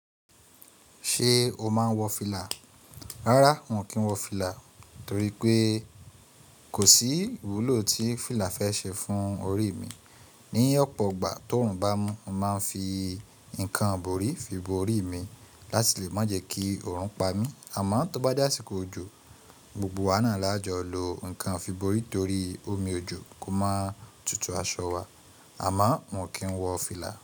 Ṣé o máa ń wọ fìlà? Rárá, mí ò kí ń wọ fìlà torí pé kò sí ìwúlò tí fìlà fẹ́ ṣe fún orí mi. Ni ọ̀pọ̀ ìgbà tó oòrùn bá mú, mo máa ń fi nǹkan borí fi bo orí mi láti lè má jẹ kí oòrùn pa mí. Àmọ́ tó bá jàsìkò òjò, gbogbo wa náà lájọ lo nǹkan fi bo orí torí omi òjò kò máa tutù aṣọ wa. Àmọ́ n ò kí ń wọ fìlà.